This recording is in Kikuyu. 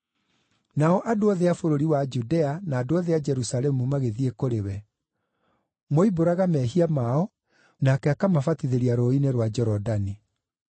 Nao andũ othe a bũrũri wa Judea na andũ othe a Jerusalemu magĩthiĩ kũrĩ we. Moimbũraga mehia mao, nake akamabatithĩria rũũĩ-inĩ rwa Jorodani.